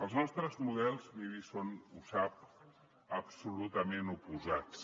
els nostres models miri són ho sap absolutament oposats